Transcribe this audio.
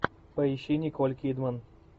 поищи николь кидман